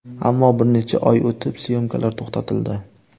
Ammo bir necha oy o‘tib syomkalar to‘xtatildi.